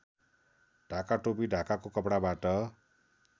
ढाकाटोपी ढाकाको कपडाबाट